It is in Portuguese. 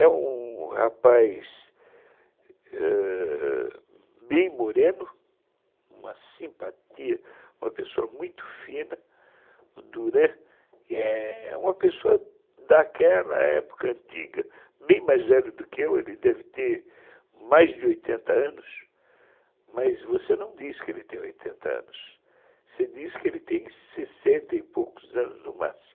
É um um rapaz ãh bem moreno, uma simpatia, uma pessoa muito fina, o Duran, é uma pessoa daquela época antiga, bem mais velha do que eu, ele deve ter mais de oitenta anos, mas você não diz que ele tem oitenta anos, você diz que ele tem sessenta e poucos anos no máximo.